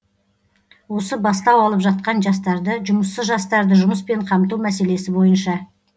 осы бастау алып жатқан жастарды жұмыссыз жастарды жұмыспен қамту мәселесі бойынша